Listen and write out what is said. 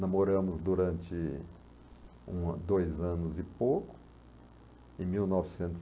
Namoramos durante um ano dois anos e pouco. Em mil novecentos